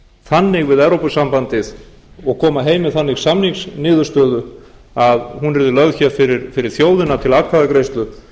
þannig við evrópusambandið og koma heim með þannig samningsniðurstöðu að hún verði lögð fyrir þjóðina til atkvæðagreiðslu